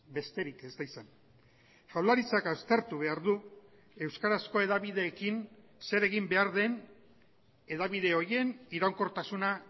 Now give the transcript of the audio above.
besterik ez da izan jaurlaritzak aztertu behar du euskarazko hedabideekin zer egin behar den hedabide horien iraunkortasuna